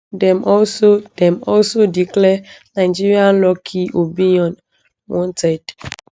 dem also dem also declare nigerian lucky obiyan wanted